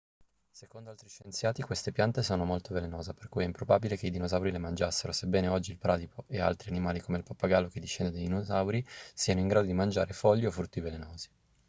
secondo altri scienziati queste piante sono molto velenose per cui è improbabile che i dinosauri le mangiassero sebbene oggi il bradipo e altri animali come il pappagallo che discende dai dinosauri siano in grado di mangiare foglie o frutti velenosi